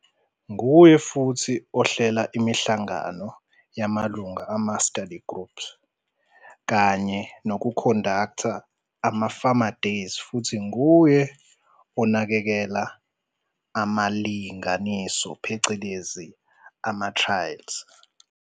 Nguye futhi ohlela imihlangano yamalungu ama-study group kanye nokukhondaktha ama-farmer days futhi nguye unakekela amalinganiso phecelezi-trials.